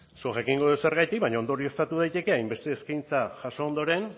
zuk jakingo duzu zergatik baina ondorioztatu daiteke hainbeste eskaintza jaso ondoren